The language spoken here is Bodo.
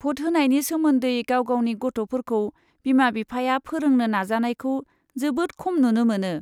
भट होनायनि सोमोन्दै गाव गावनि गथ'फोरखौ बिमा बिफाया फोरोंनो नाजानायखौ जोबोद खम नुनो मोनो।